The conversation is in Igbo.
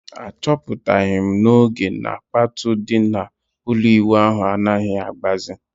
A chọpụtaghi m n'oge na kpatụ di na ụlọ ịwụ ahụ anaghị agbazi